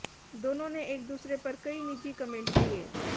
दोनों ने एक दूसरे पर कई निजी कमेंट किए